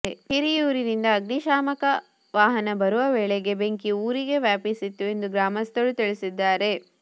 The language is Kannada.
ಹಿರಿಯೂರಿನಿಂದ ಅಗ್ನಿ ಶಾಮಕ ವಾಹನ ಬರುವ ವೇಳೆಗೆ ಬೆಂಕಿ ಊರಿಗೆ ವ್ಯಾಪಿಸಿತ್ತು ಎಂದು ಗ್ರಾಮಸ್ಥರು ತಿಳಿಸಿದ್ದಾರೆ